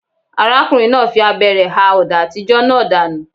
Ọkùnrin náà fi abẹ rẹ̀ ha ọ̀dà àtijọ́ náà dànù.